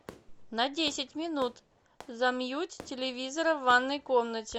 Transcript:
на десять минут замьють телевизора в ванной комнате